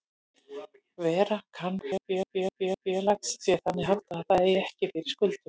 Vera kann að fjárhag félags sé þannig háttað að það eigi ekki fyrir skuldum.